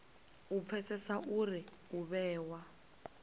u pfesesa uri u vhewa